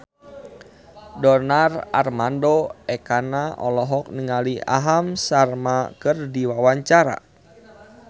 Donar Armando Ekana olohok ningali Aham Sharma keur diwawancara